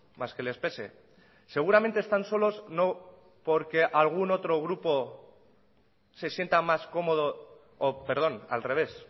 más que les pese seguramente están solos no porque algún otro grupo se sienta más cómodo perdón al revés